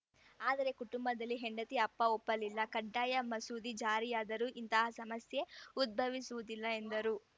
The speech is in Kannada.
ಆದರೆ ಕುಟುಂಬದಲ್ಲಿ ಹೆಂಡತಿ ಅಪ್ಪ ಒಪ್ಪಲಿಲ್ಲ ಕಡ್ಡಾಯ ಮಸೂದೆ ಜಾರಿಯಾದರೆ ಇಂತಹ ಸಮಸ್ಯೆ ಉದ್ಭವಿಸುವುದಿಲ್ಲ ಎಂದರು